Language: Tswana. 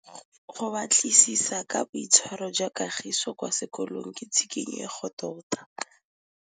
Go batlisisa ka boitshwaro jwa Kagiso kwa sekolong ke tshikinyêgô tota.